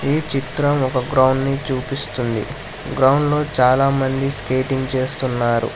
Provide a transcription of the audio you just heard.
ఈ చిత్రం ఒక గ్రౌండ్ నీ చూపిస్తుంది గ్రౌండ్ లో చాలా మంది స్కేటింగ్ చేస్తున్నారు.